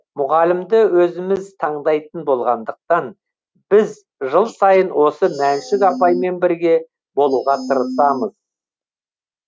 мұғалімді өзіміз таңдайтын болғандықтан біз жыл сайын осы мәншүк апаймен бірге болуға тырысамыз